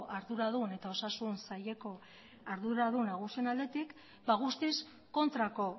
arduradun eta osasun saileko arduradun nagusien aldetik guztiz kontrako